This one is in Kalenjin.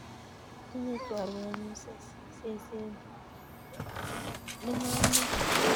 Tinye chorwennyu seset ne ng'om nea